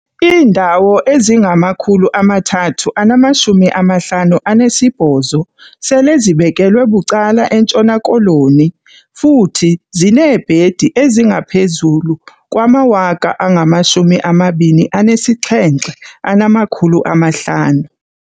Iindawo ezingama-358 sele zibekelwe bucala eNtshona Koloni, futhi zineebhedi ezingaphezulu kwama-27 500.